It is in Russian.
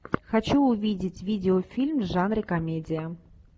хочу увидеть видеофильм в жанре комедия